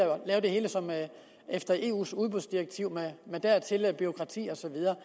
lave det hele efter eus udbudsdirektiv med dertil hørende bureaukrati og så videre